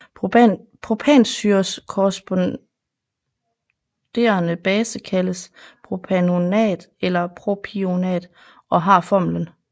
Propansyres korresponderende base kaldes propanoat eller propionat og har formlen